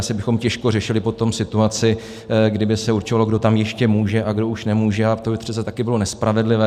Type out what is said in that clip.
Asi bychom těžko řešili potom situaci, kdy by se určovalo, kdo tam ještě může a kdo už nemůže, a to by přece také bylo nespravedlivé.